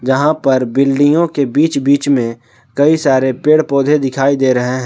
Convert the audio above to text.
जहाँ पर बिल्डिंगों के बीच बीच में कई सारे पेड़ पौधे दिखाई दे रहे हैं।